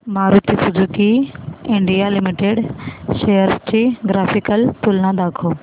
Maruti Suzuki India Limited shares ची graphical तुलना दाखव